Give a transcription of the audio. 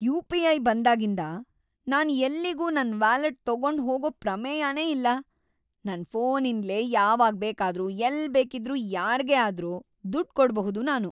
UPI. ಬಂದಾಗಿಂದ ನಾನ್ ಎಲ್ಲಿಗೂ ನನ್ ವ್ಯಾಲೆಟ್ ತಗೊಂಡ್‌ ಹೋಗೋ ಪ್ರಮೇಯನೇ ಇಲ್ಲ. ನನ್ ಫೋನಿಂದ್ಲೇ ಯಾವಾಗ್ ಬೇಕಾದ್ರೂ ಎಲ್ಲ್ ಬೇಕಿದ್ರೂ ಯಾರ್ಗೇ ಆದ್ರೂ ದುಡ್ಡ್ ಕೊಡ್ಬಹುದು ನಾನು.